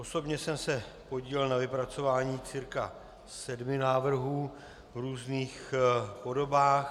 Osobně jsem se podílel na vypracování cca sedmi návrhů v různých podobách.